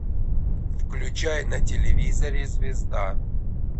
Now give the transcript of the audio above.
включай на телевизоре звезда